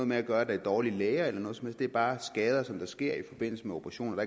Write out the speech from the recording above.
med at der er dårlige læger eller noget som helst det er bare skader der sker i forbindelse med operationer og